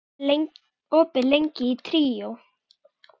Bergmar, hvað er opið lengi í Tríó?